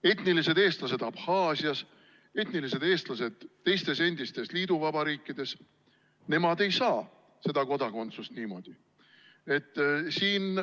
Etnilised eestlased Abhaasias, etnilised eestlased teistes endistes liiduvabariikides, nemad ei saa seda kodakondsust niimoodi.